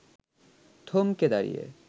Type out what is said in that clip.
থমকে দাঁড়িয়ে